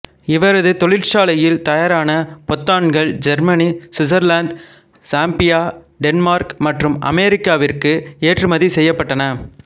இவரது தொழிற்சாலையில் தயாரான பொத்தான்கள் ஜெர்மனி சுவிட்சர்லாந்து சாம்பியா டென்மார்க் மற்றும் அமெரிக்காவிற்கு ஏற்றுமதி செய்யப்பட்டன